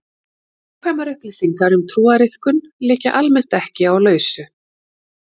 Nákvæmar upplýsingar um trúariðkun liggja almennt ekki á lausu.